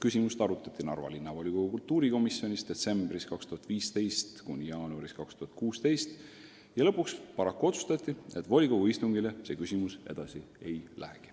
Asja arutati Narva Linnavolikogu kultuurikomisjonis perioodil detsember 2015 kuni jaanuar 2016, aga lõpuks paraku otsustati, et volikogu istungile see küsimus arutusele ei lähe.